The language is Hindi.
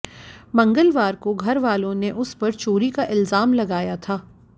मंगलवार को घरवालों ने उस पर चोरी का इल्जाम लगाया था